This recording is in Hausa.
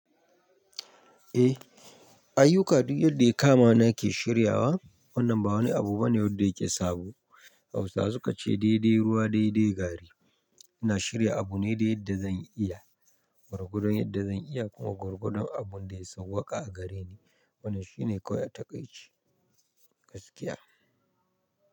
Eh, ayyuka duk yadda ya kama nake shiryawa. Wannan ba wani abu bane wadda yake sabo. Hausawa sukace "daidai ruwa, daidai gari". Ina shirya abu ne da yadda zan iya gwargodon yadda zan iya kuma gwargodon abun da ya sawwaƙa a gare ni. Wannan shine kawai a taƙaice. Gaskiya.